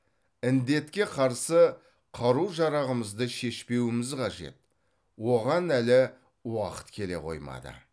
індетке қарсы қару жарағымызды шешпеуіміз қажет оған әлі уақыт келе қоймады